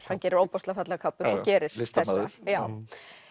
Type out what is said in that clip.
hann gerir ofboðslega fallegar kápur og gerir listamaður já